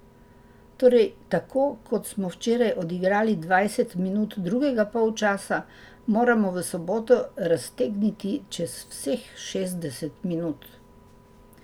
Torej tako kot smo včeraj odigrali dvajset minut drugega polčasa, moramo v soboto raztegniti čez vseh šestdeset minut.